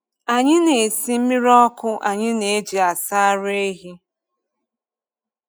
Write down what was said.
Anyị na-esi mmiri ọkụ anyị na-eji asa ara ehi.